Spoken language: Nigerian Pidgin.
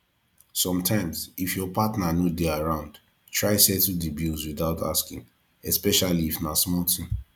sometimes if your partner no de around try settle di bills without asking especially if na small thing